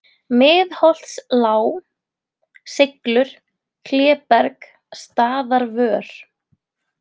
Miðholtslág, Seiglur, Kléberg, Staðarvör